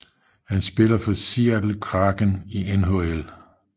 Han spiller for Seattle Kraken i NHL